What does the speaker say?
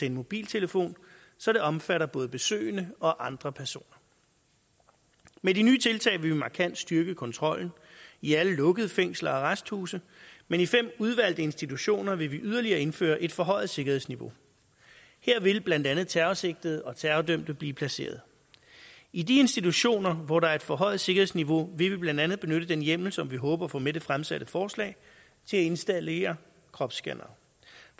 en mobiltelefon så det omfatter både besøgende og andre personer med de nye tiltag vil vi markant styrke kontrollen i alle lukkede fængsler og arresthuse men i fem udvalgte institutioner vil vi yderligere indføre et forhøjet sikkerhedsniveau her vil blandt andet terrorsigtede og terrordømte blive placeret i de institutioner hvor der er et forhøjet sikkerhedsniveau vil vi blandt andet benytte den hjemmel som vi håber at få med i det fremsatte forslag til at installere kropsscannere